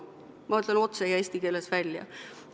Ma ütlen otse ja eesti keeles välja.